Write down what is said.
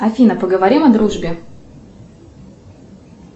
афина поговорим о дружбе